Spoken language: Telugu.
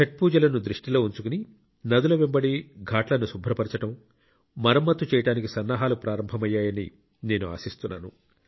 ఛట్ పూజలను దృష్టిలో ఉంచుకుని నదుల వెంబడి ఘాట్లను శుభ్రపరచడం మరమ్మతు చేయడానికి సన్నాహాలు ప్రారంభమయ్యాయని నేను ఆశిస్తున్నాను